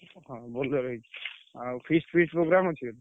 ହଁ Bolero ହେଇଛି। ଆଉ feast feast programme ଅଛି?